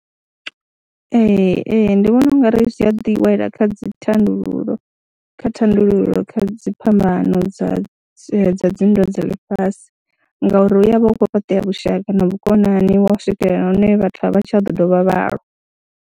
Ee, ee, ndi vhona u nga ri zwi a ḓi wela kha dzi thandululo kha thandululo kha dzi phambano dza dzi nndwa dza ḽifhasi ngauri hu ya vha hu khou fhaṱea vhushaka na vhukonani wa u swikelela hune vhathu a vha tsha ḓo dovha vha lwa.